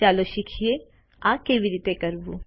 ચાલો શીખીએ આ કેવી રીતે કરવું